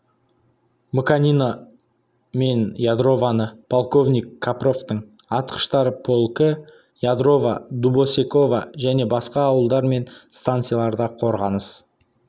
мыканино мен ядровоны полковник капровтың атқыштар полкі ядрово дубосеково және басқа ауылдар мен станцияларда қорғаныс